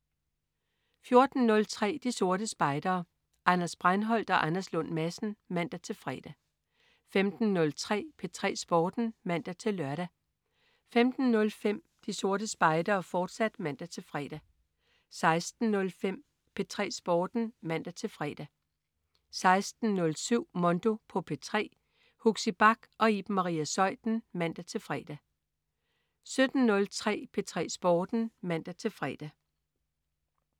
14.03 De Sorte Spejdere. Anders Breinholt og Anders Lund Madsen (man-fre) 15.03 P3 Sporten (man-lør) 15.05 De Sorte Spejdere, fortsat (man-fre) 16.05 P3 Sporten (man-fre) 16.07 Mondo på P3. Huxi Bach og Iben Maria Zeuthen (man-fre) 17.03 P3 Sporten (man-fre)